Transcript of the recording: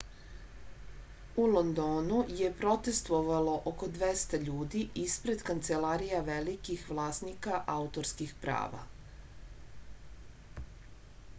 u londonu je protestovalo oko 200 ljudi isped kancelarija velikih vlasnika autorskih prava